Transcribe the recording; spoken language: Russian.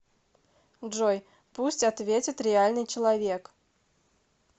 джой пусть ответит реальный человек